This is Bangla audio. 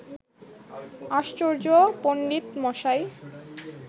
আশ্চর্য, পণ্ডিতমশাই